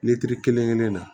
kelen kelen na